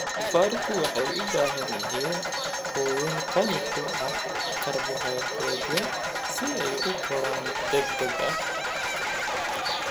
Doofaarku waxay u baahan yihiin quudin qani ku ah karbohaydraytyada si ay u koraan degdeg ah.